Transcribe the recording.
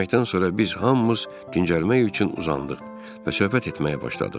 Yeməkdən sonra biz hamımız gicəlmək üçün uzandıq və söhbət etməyə başladıq.